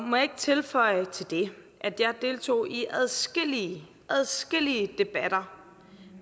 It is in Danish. må jeg ikke tilføje til det at jeg deltog i adskillige adskillige debatter